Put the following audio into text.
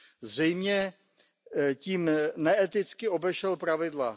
Zřejmě tím neeticky obešel pravidla.